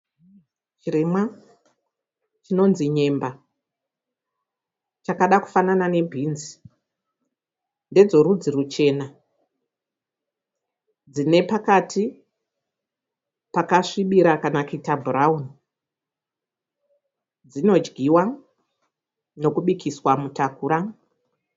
Chirimwa chinonzi nyemba chakada kufanana nebhinzi. Ndedzerudzi ruchena dzine pakati pakasvibira kana kuita bhurawuni. Dzinodyiwa nekubikiswa mutakura.